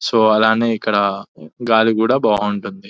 So అలానే ఇక్కడ గాలి కూడా బాగుంటుంది.